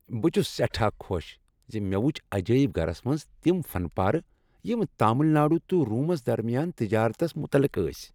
بہٕ چھس سیٹھاہ خوش ز مےٚ وُچھ عجٲیب گرس منٛز تم فن پارٕ یم تامل ناڈوٗ تہٕ رومس درمیان تجارتس مُتعلق ٲسۍ۔